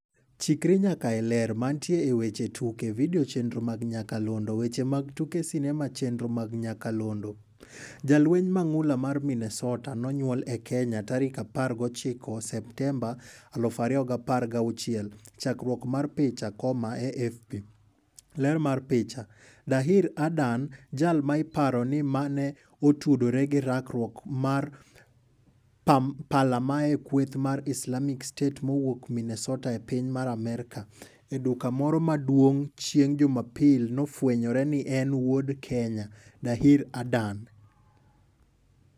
Chikri nyaka e Ler. Mantie e weche tuke. Video chenro mag nyakalondo. Weche mag tuke sinema chenro mag nyakalondo. Jalweny mang'ula mar Minnesota ''nonywole e Kenya'' Tarik 19 Septemba 2016. Chakruok mar picha, AFP. Ler mar picha. Dahir Adan. Jal ma iparo ni mane otudore gi rakruok mar palamae kweth mar Islamic State mawuok Minessota e piny mar Amerka. E duka moro maduong' chieng' jumapil nofwenyore ni en wuod Kenya. Dahir Adan.